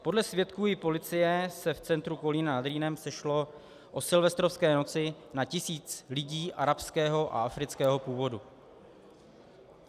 Podle svědků i policie se v centru Kolína nad Rýnem sešlo o silvestrovské noci na tisíc lidí arabského a afrického původu.